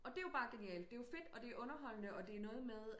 Og det er jo bare genialt det er jo fedt og det er underholdende og det er noget med